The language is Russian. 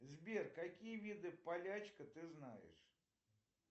сбер какие виды полячка ты знаешь